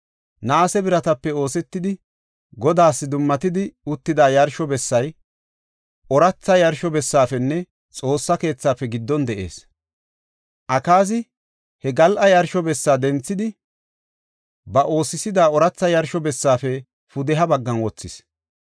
Naase biratape oosetidi, Godaas dummatidi uttida yarsho bessay, ooratha yarsho bessaafenne Xoossa keethaafe giddon de7ees. Akaazi he gal7a yarsho bessa denthidi, ba oosisida ooratha yarsho bessaafe pudeha baggan wothis.